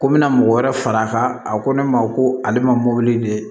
Ko n bɛna mɔgɔ wɛrɛ far'a kan a ko ne ma ko ale ma mɔbili de